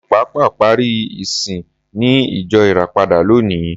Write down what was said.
Mi ò pàpà parí ìsìn ní ìjọ Ìràpadà lónìí.